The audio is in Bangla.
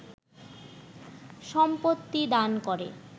সম্পত্তি দান করে